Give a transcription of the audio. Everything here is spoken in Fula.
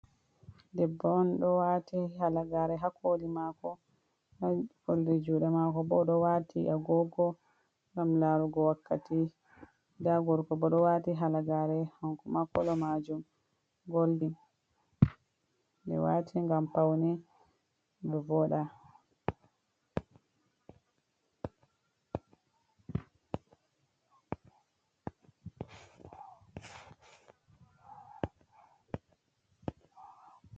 Debbo on ɗo wati halagare ha koli mako. Ha oldi juɗe mako bo ɗo waati agogo ngam larugo wakkati. Nda gorko bo ɗo waati halagare hanko ma kolo majum goldin. Ɓe waati ngam paune be voɗa.